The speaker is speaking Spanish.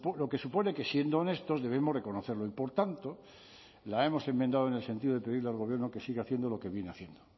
lo que supone que siendo honestos debemos reconocerlo y por tanto la hemos enmendado en el sentido de pedirle al gobierno que siga haciendo lo que viene haciendo